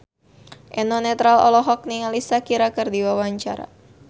Eno Netral olohok ningali Shakira keur diwawancara